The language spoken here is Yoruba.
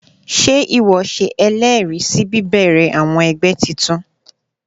Sé ìwo se elèèrí sí bíbèrè àwon egbé titun?